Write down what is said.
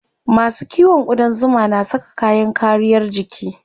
Masu kiwon ƙudan zuma na saka kayan kariyar jiki.